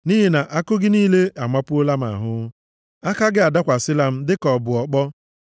Nʼihi na àkụ gị niile amapuola m ahụ, aka gị adakwasịkwala m, dịka ọ bụ ọkpọ.